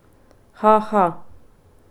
Ha, ha!